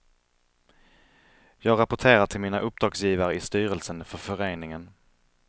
Jag rapporterar till mina uppdragsgivare i styrelsen för föreningen.